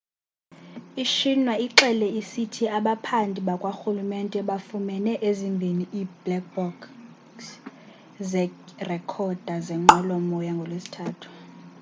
i-xinhua ixele isithi abaphandi bakwarhulumente bafumene ezimbhini ii-'black box' zeerekhoda zenqwelo-moya ngolwesithathu